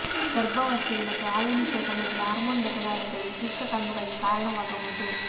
ಗರ್ಭಾವಸ್ಥೆಯಲ್ಲಿ ಮತ್ತು ಹಾಲುಣಿಸುವ ಸಮಯದಲ್ಲಿ ಹಾರ್ಮೋನ್ ಬದಲಾವಣೆಗಳು ಶುಷ್ಕ ಕಣ್ಣುಗಳಿಗೆ ಕಾರಣವಾಗಬಹುದು